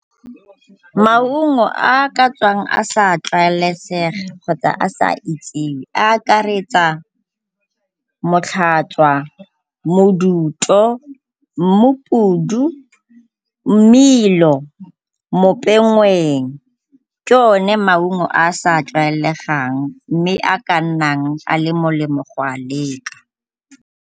Maungo a a ka tswang a sa tlwaelesega kgotsa a sa itsiwe a akaretsa , moduto, mmupudu, mmelo, . Ke o ne maungo a a sa tlwaelegang mme a ka nnang a le molemo go a leka.